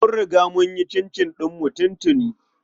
Mun riga mun yi cincin ɗin tuntuni.